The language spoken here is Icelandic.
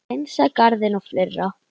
Hreinsa garðinn og fleira.